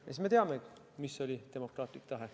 Siis me teame, mis oli demokraatlik tahe.